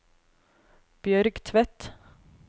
Bjørg Tvedt